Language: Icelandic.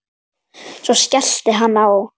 Svo skellti hann á.